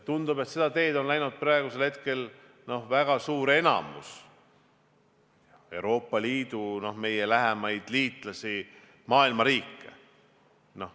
Tundub, et seda teed on läinud praegu väga suur osa Euroopa Liidu riike, meie lähemaid liitlasi, maailma riike.